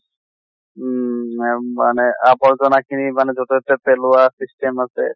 উম আম মানে আৱৰ্জনা খিনি মানে যʼতে তʼতে পেলৱা system আছে